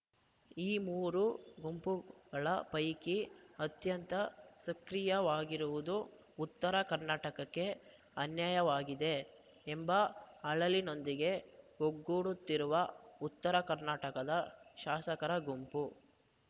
ಈ ಮೂರು ಗುಂಪುಗಳ ಪೈಕಿ ಅತ್ಯಂತ ಸಕ್ರಿಯವಾಗಿರುವುದು ಉತ್ತರ ಕರ್ನಾಟಕಕ್ಕೆ ಅನ್ಯಾಯವಾಗಿದೆ ಎಂಬ ಅಳಲಿನೊಂದಿಗೆ ಒಗ್ಗೂಡುತ್ತಿರುವ ಉತ್ತರ ಕರ್ನಾಟಕದ ಶಾಸಕರ ಗುಂಪು